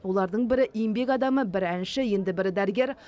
олардың бірі еңбек адамы бірі әнші енді бірі дәрігер